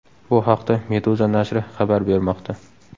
Bu haqda Meduza nashri xabar bermoqda .